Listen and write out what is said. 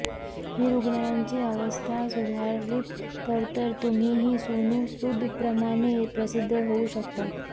ही रुग्णांची अवस्था सुधारलीत तर तर तुम्हीही सोनू सूदप्रमाणे प्रसिद्ध होऊ शकतात